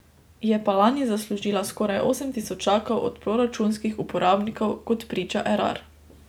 Je pa lani zaslužila skoraj osem tisočakov od proračunskih uporabnikov, kot priča Erar.